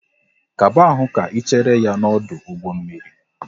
Kaba ahụ ka Ị chere ya n'ọdụ ụgbọ mmiri!